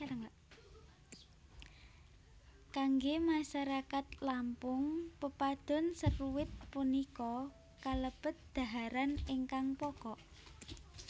Kanggé masarakat Lampung Pepadun seruit punika kalebet dhaharan ingkang pokok